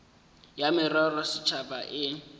ya merero ya setšhaba e